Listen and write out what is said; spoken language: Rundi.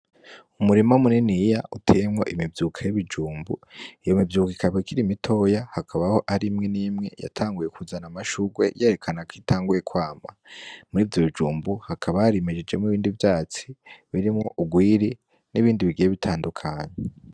Umurima muniniya uteyemwo imivyuka y'ibijumbu. Iyo mivyuka ikaba ikiri mitoya, hakaba hariho imwe n'imwe yatanguye kuzana amashugwe yerekana kwitanguye kwama. Muri ivyo bijumbu hakaba harimejejemwo ibindi vyatsi birimwo urwiri n'ibindi bigiye bitandukanye.